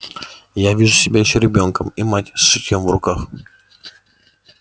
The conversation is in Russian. и я вижу себя ещё ребёнком и мать с шитьём в руках